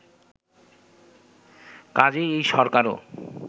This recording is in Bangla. কাজেই এই সরকারও